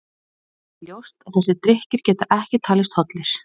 Það er því ljóst að þessir drykkir geta ekki talist hollir.